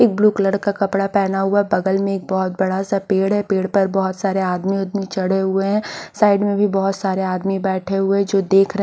एक blue colour का कपड़ा पहना हुआ बगल मे एक बहुत बड़ा सा पेड़ है पेड़ पर बहुत सारे आदमी ऊदमी चढ़े हुए हैँ साइड मे भी बहुत सारे आदमी बैठे हुए जो देख--